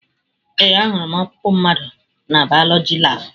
Ee, ahụrụ m ọkpụkpụ mmadụ na bayoloji labụ.